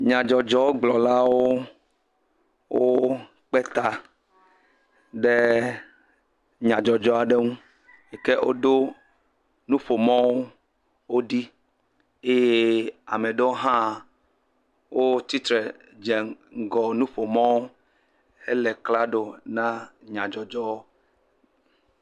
Nyadzɔdzɔgblɔlawo wokpe ta ɖe nya ɖe ŋu yi ke woɖo nuƒomɔ̃wo woɖi eye ame aɖewo hã wotsi tre dze ŋgɔ nuƒomɔ̃wo hele klaɖo na nyadzɔdzɔwo.